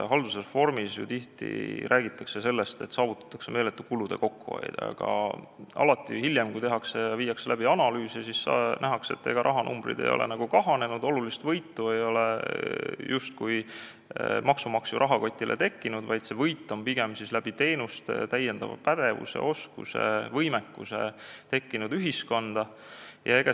Haldusreformi puhul räägitakse ju tihti sellest, et saavutatakse meeletu kulude kokkuhoid, aga hiljem, kui tehakse analüüse, siis nähakse, et ega rahanumbrid ei ole kahanenud, olulist võitu ei ole justkui maksumaksja rahakotile tekkinud, vaid see võit on tekkinud ühiskonda pigem uute teenuste, lisapädevuse, -oskuse ja -võimekuse kujul.